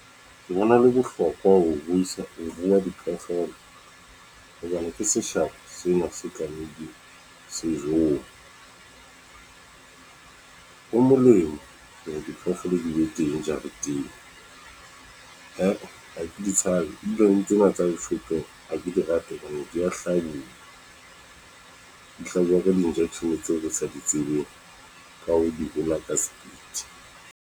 Ke bona le bohlokwa ho isa, ho rua diphoofolo , hobane ke seshabo sena se tlamehileng se jowe. Ho molemo hore diphoofolo di be teng jareteng. He ha ke ditshabe, ke di rate hobane dia hlabuwa, di hlajuwa ka di-injection tseo ke sa di tsebeng ka hoo, di hola ka speed.